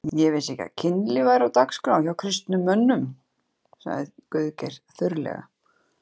Ég vissi ekki að kynlíf væri á dagskrá hjá kristnum mönnum, sagði Guðgeir þurrlega.